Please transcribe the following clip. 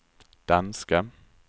danska